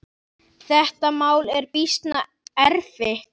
Þetta mál er býsna erfitt.